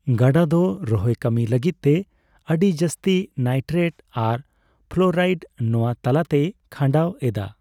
ᱜᱟᱰᱟ ᱫᱚ ᱨᱚᱦᱚᱭ ᱠᱟᱹᱢᱤ ᱞᱟᱹᱜᱤᱫ ᱛᱮ ᱟᱹᱰᱤ ᱡᱟᱹᱥᱛᱤ ᱱᱟᱭᱴᱮᱨᱮᱰ ᱟᱨ ᱯᱷᱞᱳᱨᱟᱭᱤᱰᱼᱱᱚᱣᱟ ᱛᱟᱞᱟᱛᱮᱭ ᱠᱷᱟᱱᱰᱟᱣ ᱮᱫᱟ ᱾